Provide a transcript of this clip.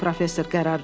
professor qərar verdi.